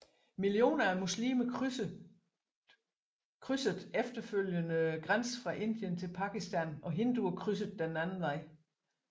Millioner af muslimer krydsede efterfølgende grænsen fra Indien til Pakistan og hinduer krydsede den anden vej